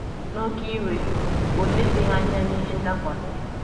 N’oké iwe, o lezighị anya na ihe ndakwasi.